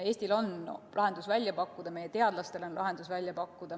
Eestil on lahendus välja pakkuda, meie teadlastel on lahendus välja pakkuda.